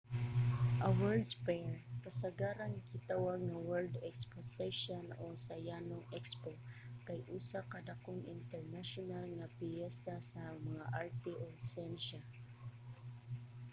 a world's fair kasagarang gitawag nga world exposition o sa yano expo kay usa ka dakong internasyonal nga piyesta sa mga arte ug siyensya